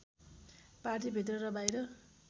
पार्टीभित्र र बाहिर